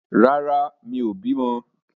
Rárá, mi ò bì mọ́.